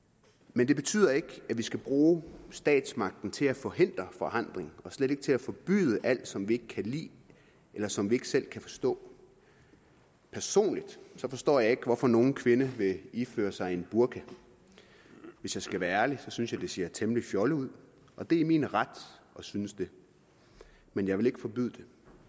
men det betyder ikke at vi skal bruge statsmagten til at forhindre forandring og slet ikke til at forbyde alt som vi ikke kan lide eller som vi ikke selv kan forstå personligt forstår jeg ikke hvorfor nogen kvinde vil iføre sig en burka hvis jeg skal være ærlig synes jeg at det ser temmelig fjollet ud og det er min ret at synes det men jeg vil ikke forbyde det